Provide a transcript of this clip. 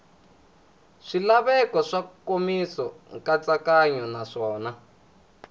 swilaveko swa nkomiso nkatsakanyo naswona